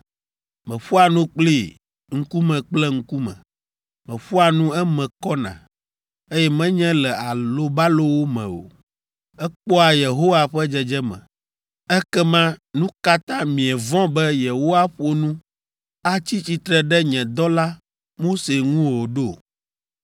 Meƒoa nu kplii, ŋkume kple ŋkume. Meƒoa nu eme kɔna, eye menye le alobalowo me o; ekpɔa Yehowa ƒe dzedzeme. Ekema nu ka ta mievɔ̃ be yewoaƒo nu, atsi tsitre ɖe nye dɔla, Mose ŋu o ɖo?”